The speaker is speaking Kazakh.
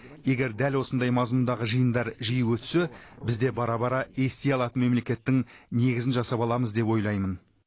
егер дәл осындай мазмұндағы жиындар жиі өтсе біз де бара бара ести алатын мемлекеттің негізін жасап аламыз деп ойлаймын